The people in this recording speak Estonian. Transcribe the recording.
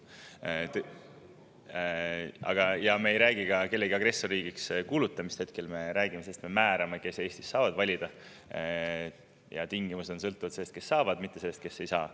Me ei räägi ka agressorriigiks kuulutamisest, hetkel me räägime sellest, et me määrame kindlaks seda, kes Eestis saavad valida, ja tingimused sõltuvad sellest, kes saavad, mitte sellest, kes ei saa.